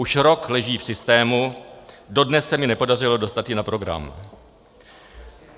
Už rok leží v systému, dodnes se mi nepodařilo dostat ji na program.